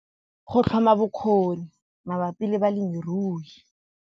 Go tlhoma bokgoni mabapi le balemirui